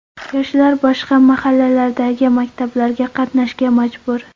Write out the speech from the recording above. Yoshlar boshqa mahallalardagi maktablarga qatnashga majbur.